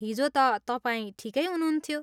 हिजो त तपाईँ ठिकै हुनुहुन्थ्यो।